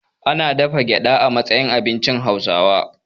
Ana dafa gyaɗa a matsayin abincin Hauwasa.